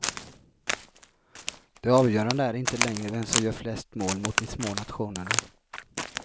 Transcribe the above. Det avgörande är inte längre vem som gör flest mål mot de små nationerna.